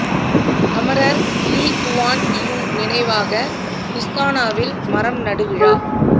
அமரர் Lee Kuan Yew நினைவாக இஸ்தானாவில் மரம் நடு விழா